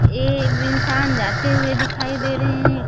ये विंसान जाते हुए दिखाई दे रहे हैं।